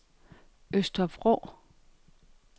Øster Vrå